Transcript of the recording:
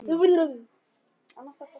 Þá fara allir út.